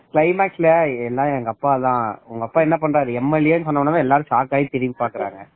எல்லா எங்க அப்பா தான் உங்க அப்பா என்ன பண்றாரு MLA னு சொன்னா உடனெ எல்லாரும் shock ஆகி திரும்பிபாதாங்க